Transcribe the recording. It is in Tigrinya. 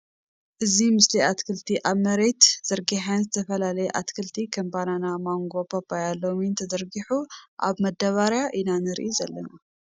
ኣዚ ምስሊ እትክልቲ ኣብ ምሬት ዘርጊሐን ዝተፈላለይ ኣትክልቲ ክም ባናና ማንጎ ፓፓያ ሎሚንን ትዘርጊሑ ኣብ መዳብርያ ኢና ንርኢ ዘለና ።